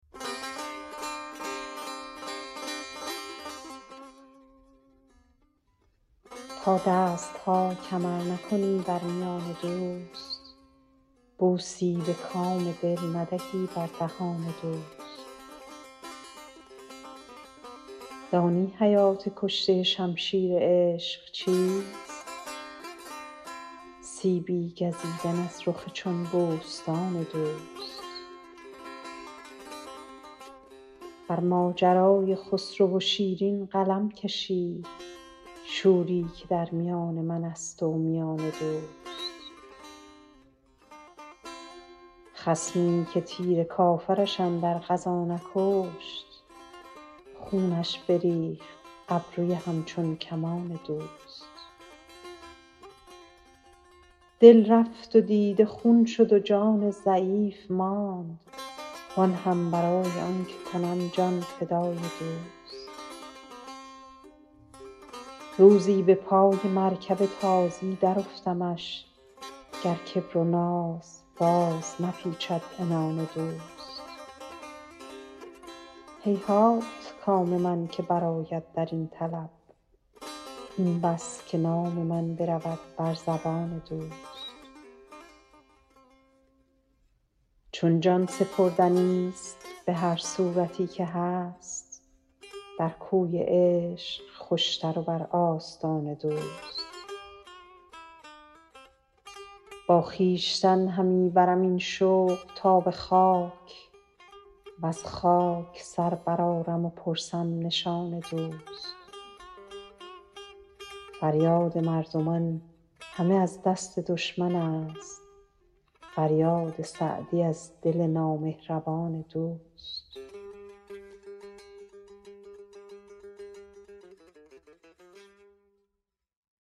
تا دست ها کمر نکنی بر میان دوست بوسی به کام دل ندهی بر دهان دوست دانی حیات کشته شمشیر عشق چیست سیبی گزیدن از رخ چون بوستان دوست بر ماجرای خسرو و شیرین قلم کشید شوری که در میان من است و میان دوست خصمی که تیر کافرش اندر غزا نکشت خونش بریخت ابروی همچون کمان دوست دل رفت و دیده خون شد و جان ضعیف ماند وآن هم برای آن که کنم جان فشان دوست روزی به پای مرکب تازی درافتمش گر کبر و ناز باز نپیچد عنان دوست هیهات کام من که برآید در این طلب این بس که نام من برود بر زبان دوست چون جان سپردنیست به هر صورتی که هست در کوی عشق خوشتر و بر آستان دوست با خویشتن همی برم این شوق تا به خاک وز خاک سر برآرم و پرسم نشان دوست فریاد مردمان همه از دست دشمن است فریاد سعدی از دل نامهربان دوست